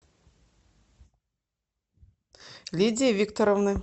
лидии викторовны